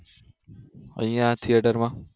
અહિયાં આ theatre માં